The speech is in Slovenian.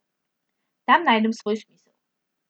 Tam najdem svoj smisel.